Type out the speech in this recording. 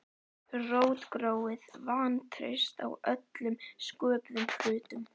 Rótgróið vantraust á öllum sköpuðum hlutum.